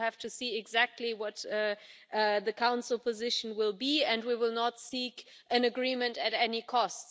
We will have to see exactly what the Council position will be and we will not seek an agreement at any cost.